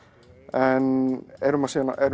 en erum